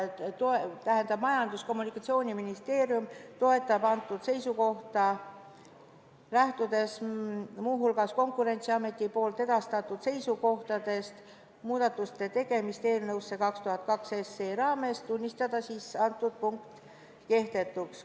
Eelnõu algataja Majandus- ja Kommunikatsiooniministeerium toetab seisukohta – lähtudes muu hulgas Konkurentsiameti edastatud seisukohtadest muudatuste tegemiseks eelnõusse 202 – tunnistada antud punkt kehtetuks.